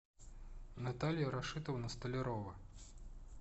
наталья рашитовна столярова